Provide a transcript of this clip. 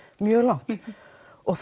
mjög langt og